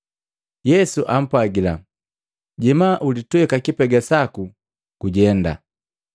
Yesu apwagila, “Jema ulitweka kipega saku gujenda.”